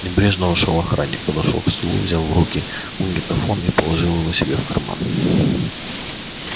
небрежно вошёл охранник подошёл к столу взял в руки магнитофон и положил его себе в карман